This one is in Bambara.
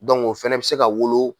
o fana bɛ se ka wolo